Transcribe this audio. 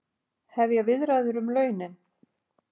Hefja viðræður um launin